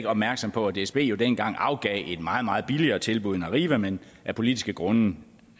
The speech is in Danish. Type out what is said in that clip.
opmærksom på at dsb jo dengang afgav et meget meget billigere tilbud end arriva men af politiske grunde